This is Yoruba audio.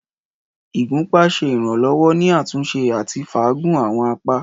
Ìgúpá ṣe iranlọwọ ni atunse ati faagun awọn apa.